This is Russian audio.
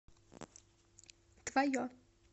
твое